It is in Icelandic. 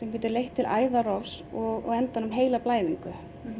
getur leitt til og endanum heilablæðingar